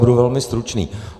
Budu velmi stručný.